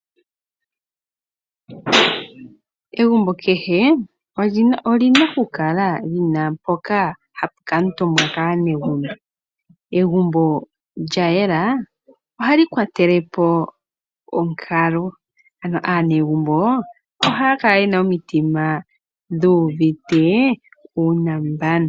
Egumbo kehe oli na okukala li na mpoka hapu kali wa omutumba kaanegembo. Egumbo lya yela ohali kwatele po onkalo ano aanegumbo ohaya kala ye na omitima dhuuvite uunambano.